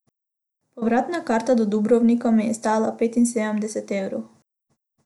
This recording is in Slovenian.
Povratna karta do Dubrovnika me je stala petinsedemdeset evrov.